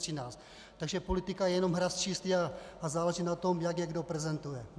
Takže politika je jenom hra s čísly a záleží na tom, jak je kdo prezentuje.